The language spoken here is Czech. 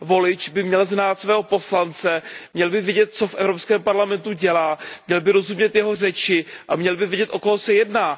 Volič by měl znát svého poslance, měl by vidět, co v Evropském parlamentu dělá, měl by rozumět jeho řeči a měl by vědět, o koho se jedná.